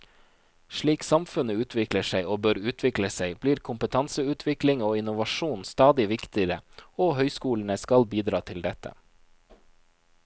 Slik samfunnet utvikler seg, og bør utvikle seg, blir kompetanseutvikling og innovasjon stadig viktigere, og høyskolene skal bidra til dette.